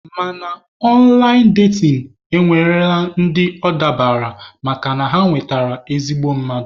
Mana ọnlaịn datin nwere ndị ọ dabaara makana ha nwetara ezigbo mmadụ.